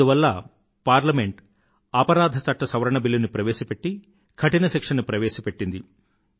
అందువల్ల పార్లమెంట్ అపరాధ చట్ట సవరణ బిల్లు ని ప్రవేశపెట్టి కఠిన శిక్షని ప్రవేశపెట్టింది